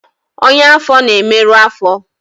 ọnyá afọ na-emerụ afo